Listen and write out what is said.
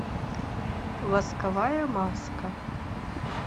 восковая маска